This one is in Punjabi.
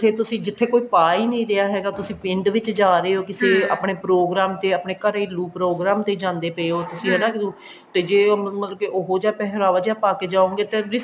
ਜਿੱਥੇ ਤੁਸੀਂ ਜਿੱਥੇ ਕੋਈ ਪਾ ਹੀ ਨੀ ਰਿਹਾ ਹੈਗਾ ਤੁਸੀਂ ਪਿੰਡ ਵਿੱਚ ਜਾ ਰਹੇ ਹੋ ਕਿਤੇ ਆਪਣੇ program ਤੇ ਆਪਣੇ ਘਰੇ ਲੋਕ program ਤੇ ਜਾਂਦੇ ਪਏ ਓ ਤੁਸੀਂ ਹਨਾ ਤੇ ਜੇ ਮਤਲਬ ਕਿ ਉਹ ਜਿਹਾ ਪਹਿਰਾਵਾ ਜਿਹਾ ਪਾਕੇ ਜਾਉਗੇ ਤਾਂ